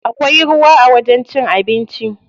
Akwai ruwa a wajen cin abinci.